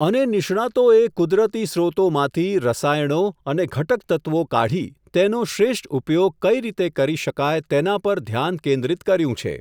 અને નિષ્ણાતોએ કુદરતી સ્રોતોમાંથી, રસાયણો અને ઘટક તત્ત્વો કાઢી, તેનો શ્રેષ્ઠ ઉપયોગ કઇ રીતે કરી શકાય તેના પર ધ્યાન કેન્દ્રિત કર્યું છે.